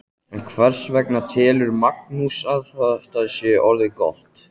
En hvers vegna telur Magnús að þetta sé orðið gott?